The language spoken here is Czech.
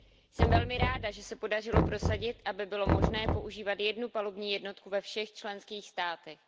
Jsem velmi ráda, že se podařilo prosadit, aby bylo možné používat jednu palubní jednotku ve všech členských státech.